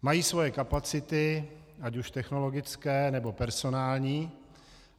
Mají svoje kapacity, ať už technologické, nebo personální.